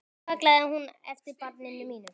Og nú kallaði hún eftir barni mínu.